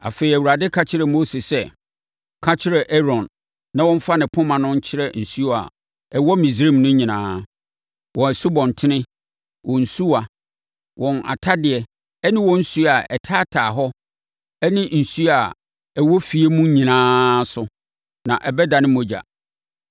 Afei, Awurade ka kyerɛɛ Mose sɛ, “Ka kyerɛ Aaron na ɔmfa ne poma no nkyerɛ nsuo a ɛwɔ Misraim no nyinaa; wɔn nsubɔntene, wɔn nsuwa, wɔn atadeɛ ne wɔn nsuo a ɛtaataa hɔ ne nsuo a ɛwɔ afie mu nyinaa so na ɛbɛdane mogya.”